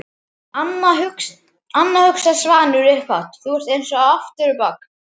Anna, hugsaði Svanur upphátt, þú ert eins aftur á bak.